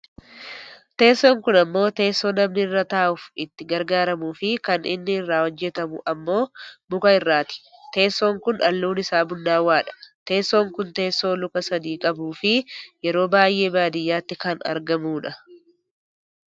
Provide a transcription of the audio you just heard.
Teessoon kun ammoo teessoo namni irra taa'uuf itti gargaaramuufi kan inni irraa hojjatamu ammoo muka irraati. Teessoon kun halluun isaa bunnaawwaadha. Teessoon kun teessoo luka sadi qabuufi yeroo baayyee baadiyyaatti kan argamudha.